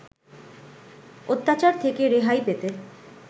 অত্যাচার থেকে রেহাই পেতে